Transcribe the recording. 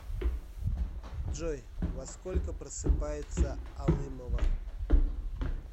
джой во сколько просыпается алымова